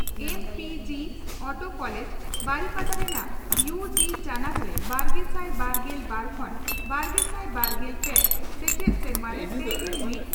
ᱮᱢ P ᱪᱤᱚᱴᱳ college ᱵᱟᱨᱤᱯᱟᱫᱟ ᱨᱮᱱᱟᱜ ᱤᱭᱩ ᱡᱤ ᱪᱟᱱᱟᱪ ᱨᱮ ᱵᱟᱨᱜᱮᱥᱟᱭ ᱵᱟᱨᱜᱮᱞ ᱵᱟᱨ ᱠᱷᱚᱱ ᱵᱟᱨᱜᱮᱥᱟᱭ ᱵᱟᱨᱜᱮᱞ ᱯᱮ ᱥᱮᱪᱮᱫ ᱥᱮᱨᱢᱟᱨᱮ ᱯᱮᱜᱮᱞ ᱢᱤᱛ